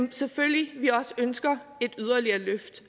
vi selvfølgelig også ønsker et yderligere løft